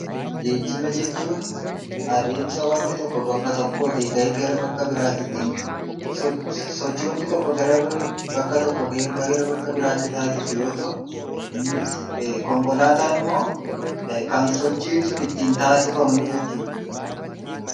Geejiba jechuun adeemsa waanti tokko bakka tokkootii ka'ee gara bakka biraatti ittiin sochii waanti tokko bakka tokkootii bakka biraatti taasisu yoo ta'u, innis konkolaataan immoo kan sochiin sun ittiin taasifamuu jechuudha.